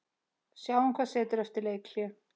Sjáum hvað setur eftir leikhlé.